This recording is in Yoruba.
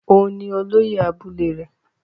Òun ni olóyè abúlé rẹ̀.